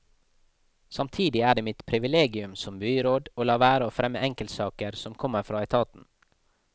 Samtidig er det mitt priviliegium som byråd å la være å fremme enkeltsaker som kommer fra etaten.